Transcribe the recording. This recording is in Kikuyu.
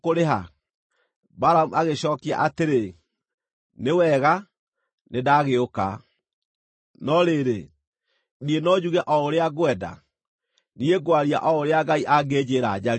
Balamu agĩcookia atĩrĩ, “Nĩ wega, nĩndagĩũka. No rĩrĩ, niĩ no njuge o ũrĩa ngwenda? Niĩ ngwaria o ũrĩa Ngai angĩnjĩĩra njarie.”